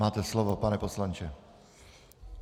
Máte slovo, pane poslanče.